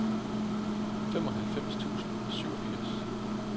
femoghalvtreds tusind og syvogfirs